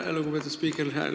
Aitäh, lugupeetud spiiker!